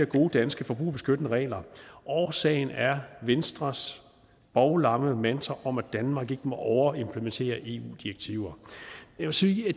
gode danske forbrugerbeskyttende regler årsagen er venstres bovlamme mantra om at danmark ikke må overimplementere eu direktiver jeg vil sige at